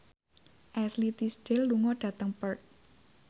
Ashley Tisdale lunga dhateng Perth